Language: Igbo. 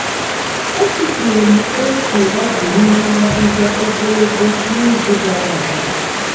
e tufuru m otu ọgụ n'ime ahịhịa ogologo n'izu gara aga.